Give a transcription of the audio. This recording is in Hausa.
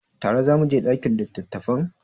Tare za mu je ɗakin littattafan?